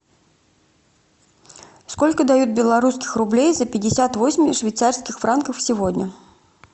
сколько дают белорусских рублей за пятьдесят восемь швейцарских франков сегодня